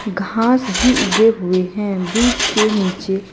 घास भी उगे हुए हैं। वृक्ष के नीचे--